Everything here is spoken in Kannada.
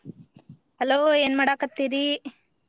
Hello ಏನ ಮಾಡಾಕತ್ತೀರಿ?